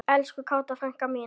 Elsku Kata frænka mín.